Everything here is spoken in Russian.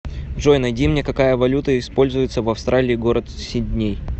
джой найди мне какая валюта используется в австралии город сидней